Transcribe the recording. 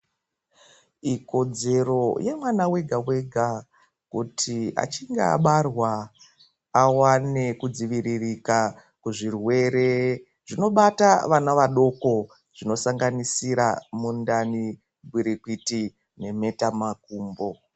Ikodzero yemwana wega-wega kuti achinge abarwa awane kudziviririka kuzvirwere zvinobata vana vadoko. Zvisanganisira mundani, gwirikwiti nemhetamakumbo.